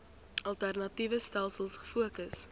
alternatiewe stelsels gefokus